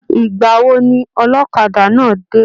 Igbawo ni ọlọ́kadà náà dé?